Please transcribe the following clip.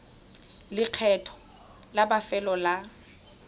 le lekgetho la bofelo la